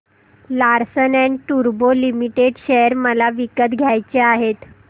Larsen and टुर्बो limited share मला विकत घ्यायचे आहेत